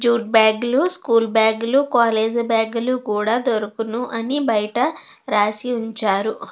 Jute bag లు school bag లు college bag లు కూడా దొరుకుని అని బయట రాసి ఉంచారు.